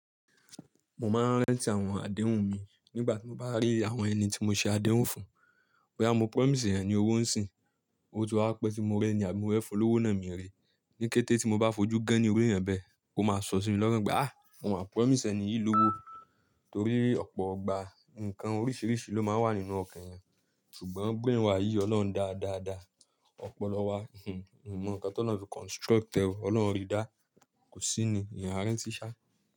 Mo máa ń rántí àwọn àdéhùn mi nígbà tí mo bá rí àwọn ẹni tí mo ṣe àdéhùn fún. Bóyá mo promise èèyàn ní owó ń sìn. Oti waa pẹ́ tí mo rẹ́ ni, àbí mo fẹ́ fún l'ówó náà mìi ri. Ni kété tí mo bá fojú gẹ́ ní irú èèyàn bẹ́ẹ̀, ó máa sọ sí mi lọ́kán pé, "mo máa promise ẹni yìí lówó." Torí ọ̀pọ̀ ọgbà, ǹkan oríṣiríṣi ló máa ń wà nínú ọkàn èèyàn, ṣùgbọ́n brain wa yíi Ọlọ́run dáa dáa dáa. Ọpọlọ wá, mi mọ ǹkan tí ọlọ́run fi construct ẹ. Ọlọ́run rií dá a, kò sí ní èèyàn a rántí sáà.